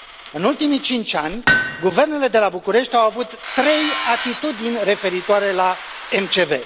În ultimii cinci ani, guvernele de la București au avut trei atitudini referitoare la MCV.